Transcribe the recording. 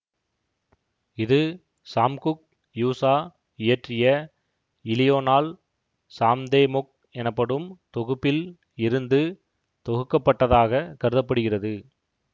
இது Samguk Yusa இயற்றிய இலியோனால் சாம்தேமொக் எனப்படும் தொகுப்பில் இருந்து தொகுக்கப்பட்டதாகக் கருத படுகிறது